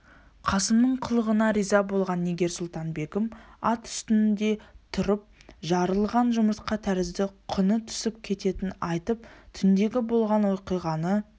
қасымның қылығына риза болған нигер-сұлтан-бегім ат үстінде тұрып жарылған жұмыртқа тәрізді құны түсіп кететінін айтып түндегі болған оқиғаны